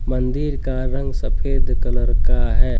मंदिर का रंग सफेद कलर का है।